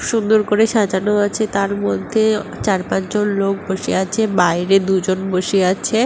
সুন্দর করে সাজানো আছে তার মধ্যে চার পাঁচ জন লোক বসে আছে বাইরে দুজন বসে আছে ।